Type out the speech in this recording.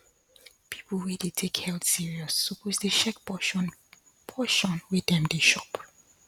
people wey dey take health serious suppose dey check portion portion wey dem dey shop